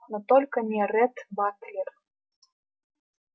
но только не ретт батлер